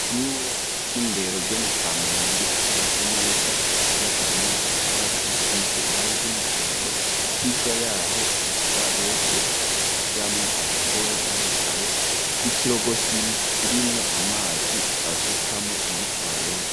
ishure ry'indero ryo mu kamenge ryubatswe neza ry,ubakishijwe n'amatafari asize irange ry'umuhondo hirya yaho udutwarete tujamwo abagore n'abagabo y'ikirogosima kirimwo amazi basukamo muri twarete.